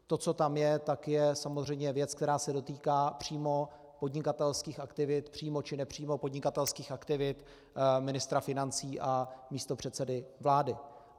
To, co tam je, tak je samozřejmě věc, která se dotýká přímo podnikatelských aktivit, přímo či nepřímo podnikatelských aktivit ministra financí a místopředsedy vlády.